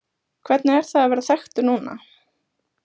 Hvernig er það að vera þekktur núna?